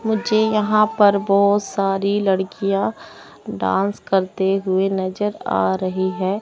मुझे यहां पर बहोत सारी लड़कियां डांस करते हुए नजर आ रही है।